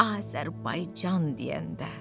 Azərbaycan deyəndə.